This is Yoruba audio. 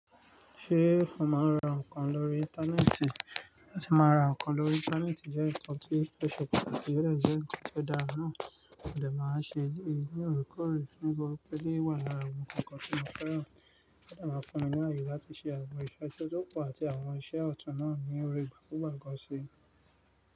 Ṣé o máa ń ra ǹkan lórí Íńtánẹ́ẹ̀tì? Láti máa ra ǹkan lórí Íńtánẹ́ẹ̀tì jẹ́ ǹkan tí ó ṣe patakí, ó dà jẹ́ ǹkan tó dára nùú. Òdẹ̀ máa ń ṣe èyí ní òorekoore fún bí ó eleyi wà lára àwọn ǹkan tí mo fẹ́ rà. Òdẹ̀ máa ń fún mi ní ààyè láti ṣe àwọn ìṣe tó kù àti àwọn ìṣe ọ̀tún náà ní òrìí ìgbà tó wà gán ṣe.